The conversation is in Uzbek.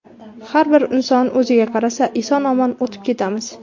Har bir inson o‘ziga qarasa, eson-omon o‘tib ketamiz.